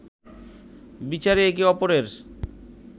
বিচারে একে অপরের